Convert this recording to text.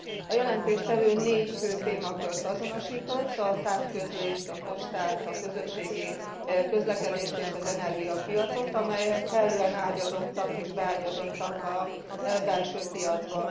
A jelentéstevő négy fő témakört azonosított a távközlést, a postát, a közlekedést és az energiapiacot, amelyek kellően ágyazottak és beágyazottak a belső piacba.